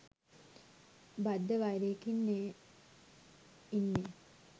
බද්ධ වෛරයකින්නේ ඉන්නේ